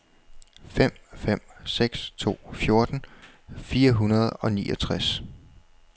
fem fem seks to fjorten fire hundrede og niogtres